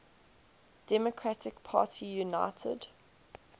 democratic party united